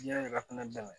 Diɲɛ yɛrɛ fana dɛmɛ